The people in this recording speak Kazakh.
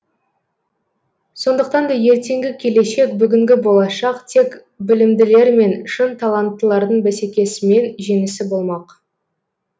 сондықтан да ертеңгі келешек бүгінгі болашақ тек білімділермен шын таланттылардың бәсекесімен жеңісі болмақ